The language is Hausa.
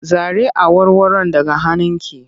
Zare awarwaron daga hannunki!